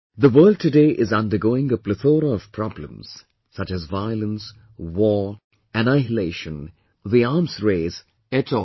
The world today is undergoing a plethora of problems such as violence, war, annihilation, the arms race et al